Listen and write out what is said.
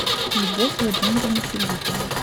любовь владимировну филиппову